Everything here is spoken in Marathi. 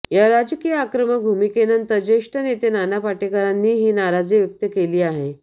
या राजकीय आक्रमक भूमिकेनंतर ज्येष्ठ नेते नाना पाटेकरांनीही नाराजी व्यक्त केली आहे